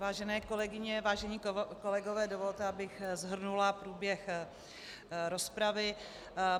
Vážené kolegyně, vážení kolegové, dovolte, abych shrnula průběh rozpravy.